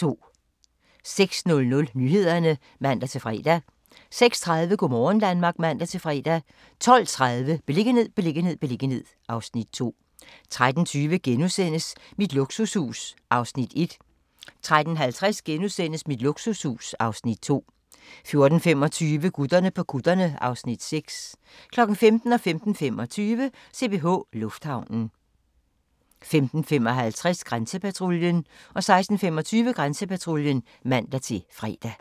06:00: Nyhederne (man-fre) 06:30: Go' morgen Danmark (man-fre) 12:30: Beliggenhed, beliggenhed, beliggenhed (Afs. 2) 13:20: Mit luksushus (Afs. 1)* 13:50: Mit luksushus (Afs. 2)* 14:25: Gutterne på kutterne (Afs. 6) 15:00: CPH Lufthavnen 15:25: CPH Lufthavnen 15:55: Grænsepatruljen 16:25: Grænsepatruljen (man-fre)